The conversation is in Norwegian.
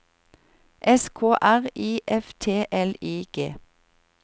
S K R I F T L I G